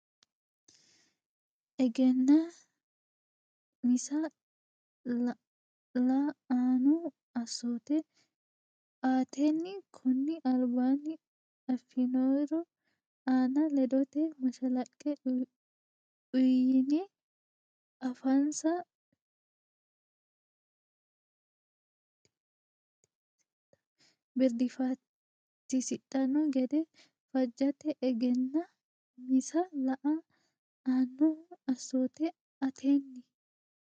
Egennaa misa la annohu assoote aatenni konni albaanni affinori aana ledote mashalaqqe uyne afansa birdiiffatisidhanno gede fajjate Egennaa misa la annohu assoote aatenni.